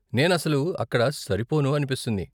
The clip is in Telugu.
నేను అసలు అక్కడ సరిపోను అనిపిస్తుంది.